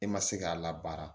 E ma se k'a labaara